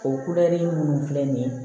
O minnu filɛ nin ye